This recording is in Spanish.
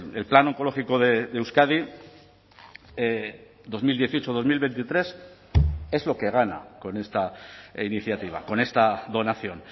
el plan oncológico de euskadi dos mil dieciocho dos mil veintitrés es lo que gana con esta iniciativa con esta donación